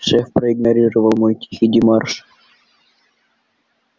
шеф проигнорировал мой тихий демарш